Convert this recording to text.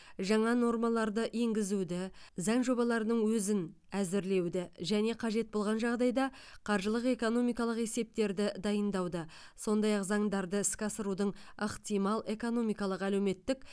жаңа нормаларды енгізуді заң жобаларының өзін әзірлеуді және қажет болған жағдайда қаржылық экономикалық есептерді дайындауды сондай ақ заңдарды іске асырудың ықтимал экономикалық әлеуметтік